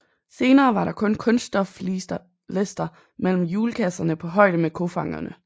Senere var der kun kunststoflister mellem hjulkasserne på højde med kofangerne